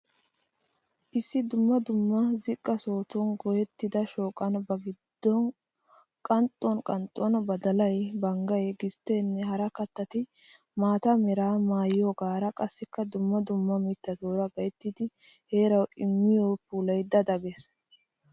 Issi dumma dumma ziqqa sohotun goyettida shooqan ba qanxxuwan qanxxuwan badalay, banggay, gistteenne hara kattati maata meraa maayoogaara qassikka dumma dumma miittatuura gayttidi heeraawu immo puulay da da gees.